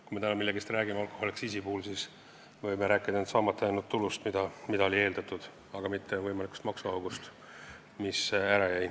Kui täna alkoholiaktsiisi puhul millestki rääkida, siis me võime rääkida ainult saamata jäänud tulust, mida eeldati, aga mitte võimalikust maksuaugust.